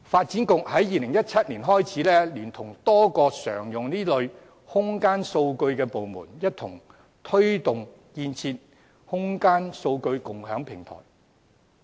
自2017年起，發展局聯同多個常用這類空間數據的部門，一同推動建設空間數據共享平台。